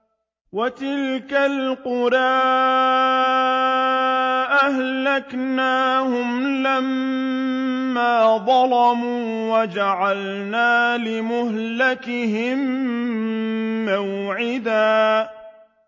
وَتِلْكَ الْقُرَىٰ أَهْلَكْنَاهُمْ لَمَّا ظَلَمُوا وَجَعَلْنَا لِمَهْلِكِهِم مَّوْعِدًا